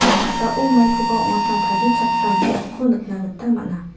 ia noksao maikoba ong·atna tarichakram biapko nikna gita man·a.